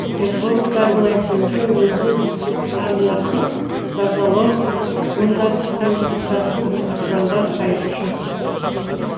экологтардың айтуынша өзен арнасын тазалау ондағы құмды тасу заңға қайшы